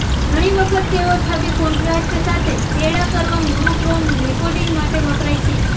ઘણી વખત તેઓ છબી કોન્ટ્રાસ્ટ સાથે ચેડાં કરવા મોનોક્રોમ રેકોર્ડિંગ માટે વપરાય છે